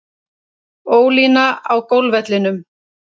Ólína á golfvellinum.